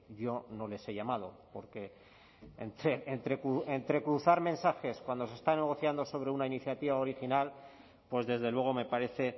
yo no les he llamado porque entre cruzar mensajes cuando se está negociando sobre una iniciativa original pues desde luego me parece